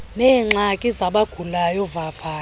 neengxaki zabagulayo vavanyo